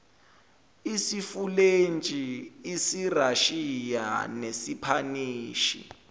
isifulentshi isirashiya nesipanishi